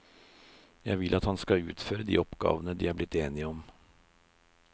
Vil at han skal utføre de oppgavene de er blitt enige om.